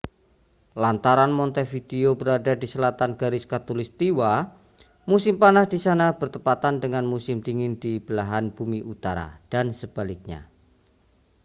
lantaran montevideo berada di selatan garis khatulistiwa musim panas di sana bertepatan dengan musim dingin di belahan bumi utara dan sebaliknya